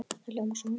Það hljómar svo